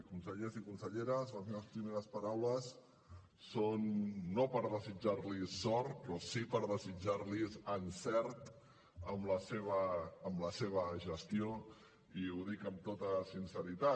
consellers i conselleres les meves primeres paraules són no per desitjar los sort però sí per desitjar los encert en la seva gestió i ho dic amb tota sinceritat